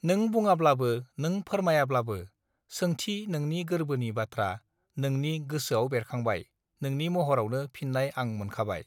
नों बुङाब्लाबो नों फोरमायाब्लाबो सोंथि नोंनि गोर्बोनि बाथ्रा नोंनि गोसोआव बेरखांबाय नोंनि महरावनो फिन्नाय आं मोनखाबाय